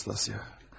Nastasya.